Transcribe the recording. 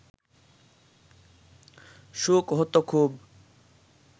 সুখ হত খুব